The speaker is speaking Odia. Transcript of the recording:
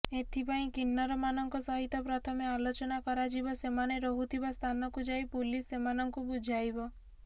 ଏଥିପାଇଁ କିନ୍ନରମାନଙ୍କ ସହିତ ପ୍ରଥମେ ଆଲୋଚନା କରାଯିବ ସେମାନେ ରହୁଥିବା ସ୍ଥାନକୁ ଯାଇ ପୁଲିସ ସେମାନଙ୍କୁ ବୁଝାଇବ